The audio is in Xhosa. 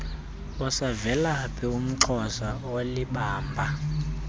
usavelaphi umxhosa olibamba